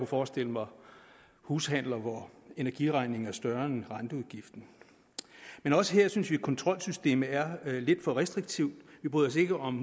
forestille mig hushandler hvor energiregningen var større end renteudgiften men også her synes vi at kontrolsystemet er lidt for restriktivt vi bryder os ikke om